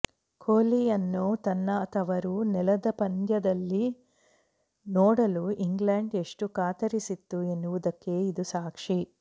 ಕೊಹ್ಲಿಯನ್ನು ತನ್ನ ತವರು ನೆಲದ ಪಂದ್ಯದಲ್ಲಿ ನೋಡಲು ಇಂಗ್ಲೆಂಡ್ ಎಷ್ಟು ಕಾತರಿಸಿತ್ತು ಎನ್ನುವುದಕ್ಕೆ ಇದು ಸಾಕ್ಷಿ